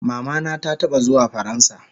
Mama na ta taba zuwa faransa